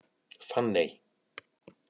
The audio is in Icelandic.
Fanney